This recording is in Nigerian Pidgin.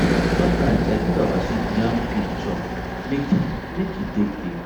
sometimes i give our sheep yam peel chop make e make e take dey